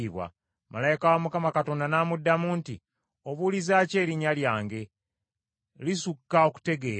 Malayika wa n’amuddamu nti, “Obuuliza ki erinnya lyange? Lisukka okutegeera.”